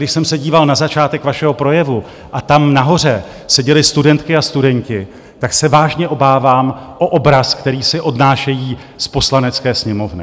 Když jsem se díval na začátek vašeho projevu a tam nahoře seděly studentky a studenti, tak se vážně obávám o obraz, který si odnášejí z Poslanecké sněmovny.